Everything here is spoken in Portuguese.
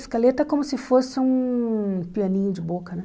Escaleta é como se fosse um pianinho de boca, né?